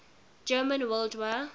german world war